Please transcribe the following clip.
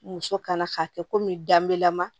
Muso kana k'a kɛ komi danbe lama